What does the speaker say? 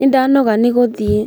Nĩ ndanoga ni guthiĩ